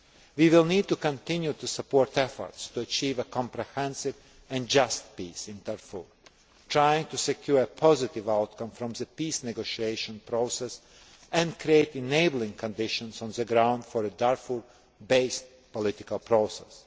We will need to continue to support efforts to achieve a comprehensive and just peace in Darfur, trying to secure a positive outcome from the peace negotiation process and create enabling conditions on the ground for a Darfur based political process.